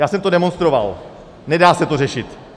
Já jsem to demonstroval - nedá se to řešit.